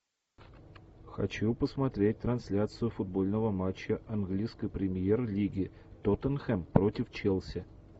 хочу посмотреть трансляцию футбольного матча английской премьер лиги тоттенхэм против челси